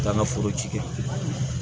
Taa n ka foro ci kɛ